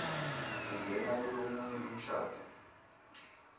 kungena kulomunye umshado